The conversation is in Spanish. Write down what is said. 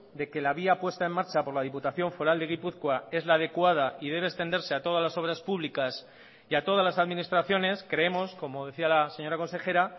de que la vía puesta en marcha por la diputación foral de gipuzkoa es la adecuada y debe extenderse a todas las obras públicas y a todas las administraciones creemos como decía la señora consejera